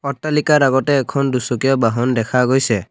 অট্টালিকাৰ আগতে এখন দুচকীয়া বাহন দেখা গৈছে।